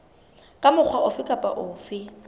ka mokgwa ofe kapa ofe